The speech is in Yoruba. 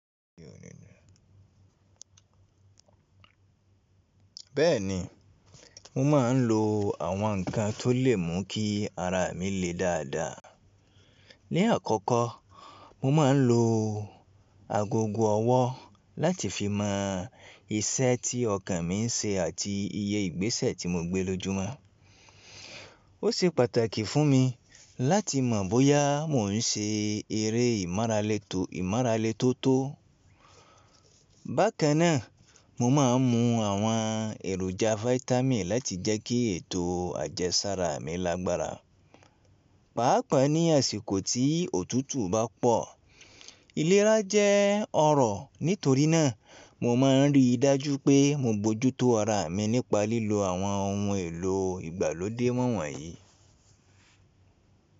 Bẹ́ẹ̀ni, mo máa ń lo àwọn ǹkan tó lè mú kí ara mi le dáadáa. Ni àkọ́kọ́, mo máa ń lo agogo ọwọ́ láti fi mọ iṣẹ́ tí ọkàn mi ń ṣe àti iye ìgbésẹ̀ tí mo gbé lójúmọ́. Ó ṣe pàtàkì fún mi láti mọ̀ bóyá mò ń ṣe eré ìmọra le tó tó. Bákan náà, mo máa ń mu àwọn èròjà fáítámì láti jẹ́ kí ètò àjẹsára mi lágbára. Pàápàá ní àsìkò tí òtútù bá pọ̀, ìlera jẹ́ ọ̀rọ̀. Nítorí náà, mo máa ń rí i dájú pé mo bojútó ara mi nípa lílo àwọn ohun èlò ìgbàlódé wọ́wọ́nyí.